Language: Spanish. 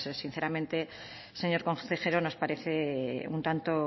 sinceramente señor consejero nos parece un tanto